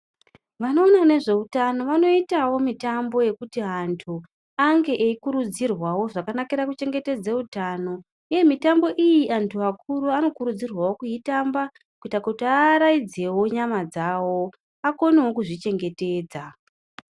Vanoona nezveutano vanoitavo mitambo yekuti antu ange eikurudzirwavo zvakanakira kuchengetedza utano, uye mitambo iyi antu akuru ano kurudzirwavo kuitamba kuita kuti aaraidzevo nyama dzavo akonevo kuzvi chengetedza.